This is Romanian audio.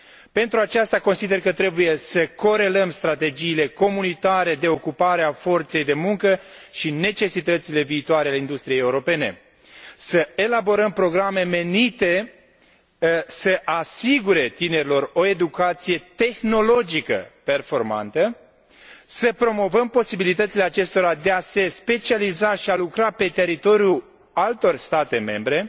Pentru aceasta, consider că trebuie să corelăm strategiile comunitare în materie de ocupare a forței de muncă și necesitățile viitoare ale industriei europene, să elaborăm programe menite să asigure tinerilor o educație tehnologică performantă, să promovăm posibilitățile acestora de a se specializa și a lucra pe teritoriul altor state membre